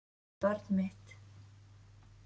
Barn mitt.